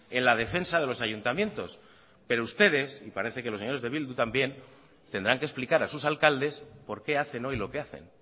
en la defensa de los ayuntamientos pero ustedes y parece que los señores de bildu también tendrán que explicar a sus alcaldes por qué hacen hoy lo que hacen